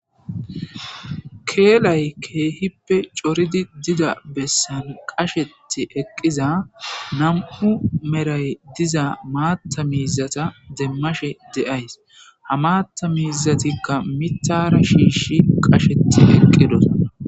Keelay keehippe corid diza bessan qachet eqiza 2 Meray diza matha mizata demashe de'ays, ha matha mizatika mithara shish qachet eqidosona.